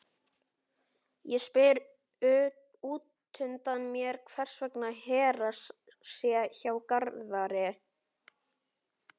Ég spyr útundan mér hvers vegna Hera sé hjá Garðari.